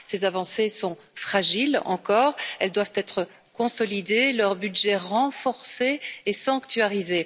Ces avancées sont fragiles encore, elles doivent être consolidées, leur budget renforcé et sanctuarisé.